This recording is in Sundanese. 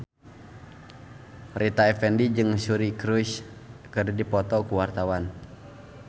Rita Effendy jeung Suri Cruise keur dipoto ku wartawan